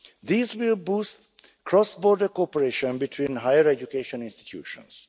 These will boost cross border cooperation between higher education institutions.